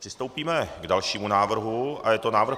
Přistoupíme k dalšímu návrhu a je to